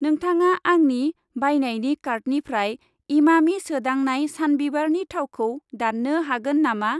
नोंथाङा आंनि बायनायनि कार्टनिफ्राय इमामि सोदांनाय सानबिबारनि थावखौ दान्नो हागोन नामा?